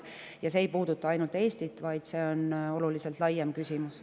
Ja see ei puuduta ainult Eestit, vaid see on oluliselt laiem küsimus.